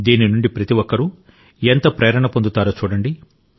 దీని నుండి ప్రతి ఒక్కరూ ఎంత ప్రేరణ పొందుతారో చూడండి